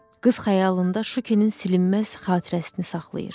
Qız xəyalında Şukinin silinməz xatirəsini saxlayır.